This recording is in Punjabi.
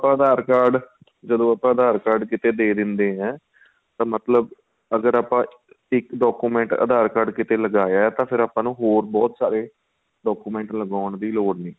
ਜਦੋਂ aadhar card ਜਦੋਂ ਆਪਾਂ aadhar card ਕਿਥੇ ਦੇ ਦੇਣੇ ਹਾਂ ਮਤਲਬ ਅਗ਼ਰ ਆਪਾਂ ਇੱਕ document aadhar card ਕਿਥੇ ਲਗਾਇਆ ਤਾਂ ਫ਼ਿਰ ਆਪਾਂ ਨੂੰ ਬਹੁਤ ਸਾਰੇ document ਲਗਾਉਣ ਦੀ ਲੋੜ ਨਹੀਂ